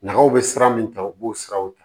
Nga aw be sira min ta u b'o siraw ta